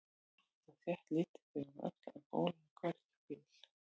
Jafnt og þétt litu þau um öxl en bólaði hvergi á bíl.